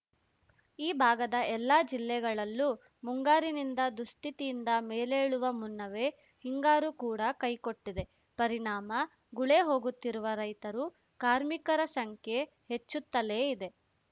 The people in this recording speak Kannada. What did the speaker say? ಈ ಭಾಗದ ಎಲ್ಲಾ ಜಿಲ್ಲೆಗಳಲ್ಲೂ ಮುಂಗಾರಿನಿಂದ ದುಸ್ಥಿತಿಯಿಂದ ಮೇಲೇಳುವ ಮುನ್ನವೇ ಹಿಂಗಾರು ಕೂಡ ಕೈಕೊಟ್ಟಿದೆ ಪರಿಣಾಮ ಗುಳೆ ಹೋಗುತ್ತಿರುವ ರೈತರು ಕಾರ್ಮಿಕರ ಸಂಖ್ಯೆ ಹೆಚ್ಚುತ್ತಲೇ ಇದೆ